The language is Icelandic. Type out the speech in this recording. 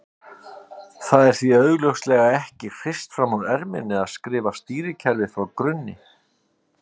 Það er því augljóslega ekki hrist fram úr erminni að skrifa stýrikerfi frá grunni.